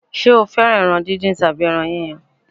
Ṣé o fẹ́ràn ẹran díndín tàbí ẹran yíyan?